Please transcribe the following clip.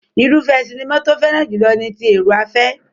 Irúfẹ́ sinimá tó fẹ́ràn jùlọ ni ti èrò-afẹ́.